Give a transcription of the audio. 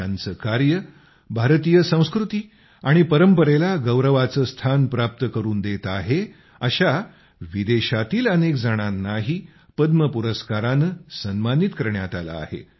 ज्यांचे कार्य भारतीय संस्कृती आणि परंपरेला गौरवाचे स्थान प्राप्त करून देत आहे अशा विदेशातील अनेकजणांनाही पद्म पुरस्काराने सन्मानित करण्यात आले आहे